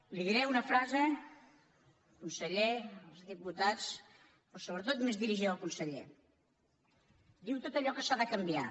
li diré una frase conseller senyors diputats però sobretot més dirigida al conseller diu tot allò que s’ha de canviar